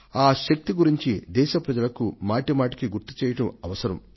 ఆ శక్తిని గురించి దేశ ప్రజలకు మాటి మాటికి గుర్తు చేయడం అవసరం